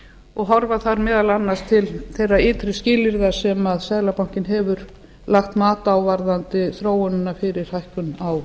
og horfa þar meðal annars til þeirra ytri skilyrða sem seðlabankinn hefur lagt mat á varðandi þróunina fyrir hækkun á